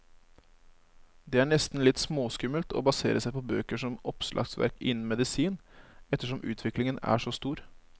Det er nesten litt småskummelt å basere seg på bøker som oppslagsverk innen medisin, ettersom utviklingen er så stor.